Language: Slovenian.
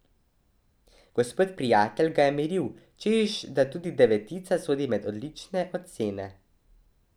Gospod Prijatelj ga je miril, češ da tudi devetica sodi med odlične ocene.